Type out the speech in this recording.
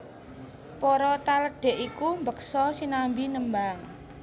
Para taledhek iku mbeksa sinambi nembang